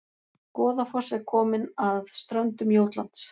Goðafoss er komin að ströndum Jótlands